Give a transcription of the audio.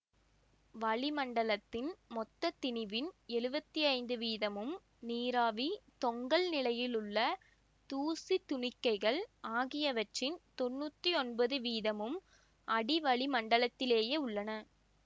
வளி மண்டலத்தின் மொத்த திணிவின் எழுவத்தி ஐந்து வீதமும் நீராவி தொங்கல் நிலையில் உள்ள தூசித் துணிக்கைகள் ஆகியவற்றின் தொன்னூத்தி ஒன்பது வீதமும் அடிவளிமண்டலத்திலேயே உள்ளன